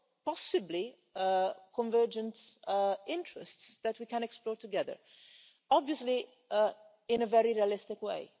possibly a convergence of interests that we can explore together, obviously in a very realistic way.